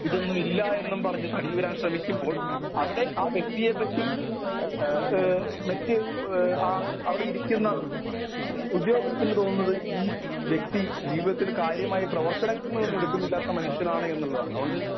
speaker 1 ഇതൊന്നും ഇല്ലായെന്നും പറഞ്ഞു തടിയൂരാൻ ശ്രമിക്കുമ്പോൾ അവിടെ ആ വ്യക്തിയെപ്പറ്റി എ ആ മറ്റു ആ അവിടെ ഇരിക്കുന്ന ഉദ്യോഗസ്ഥന് തോന്നുന്നത് ഈ വ്യക്തി ജീവിതത്തിൽ കാര്യമായ പ്രവർത്തനങ്ങളൊന്നും എടുക്കുന്നില്ലാത്ത മനുഷ്യനാണ് എന്നുള്ളതാണ് അതുകൊണ്ട്